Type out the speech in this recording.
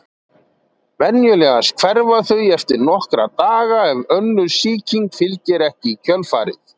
Venjulegast hverfa þau eftir nokkra daga ef önnur sýking fylgir ekki í kjölfarið.